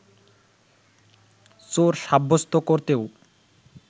চোর সাব্যস্ত করতেও